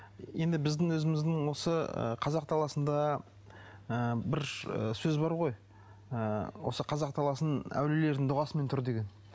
енді біздің өзіміздің осы ы қазақ даласында ы бір сөз бар ғой ы осы қазақ даласының әулиелердің дұғасымен тұр деген